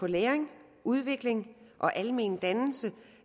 på læring udvikling og almen dannelse